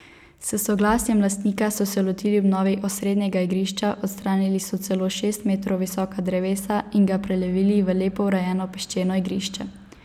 S soglasjem lastnika so se lotili obnove osrednjega igrišča, odstranili so celo šest metrov visoka drevesa in ga prelevili v lepo urejeno peščeno igrišče.